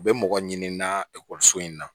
U bɛ mɔgɔ ɲini n na ekɔliso in na